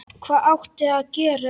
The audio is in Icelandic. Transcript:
Hvað átti hann að gera?